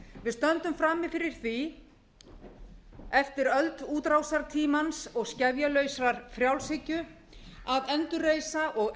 við stöndum frammi fyrir því eftir öld útrásartímans og skefjalausrar frjálshyggju að endurreisa og